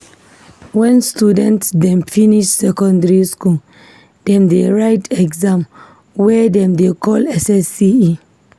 Wen student dem finish secondary skool, dem dey write exam wey dem dey call SSCE.